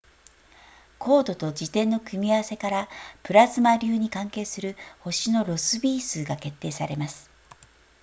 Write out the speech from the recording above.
光度と自転の組み合わせからプラズマ流に関係する星のロスビー数が決定されます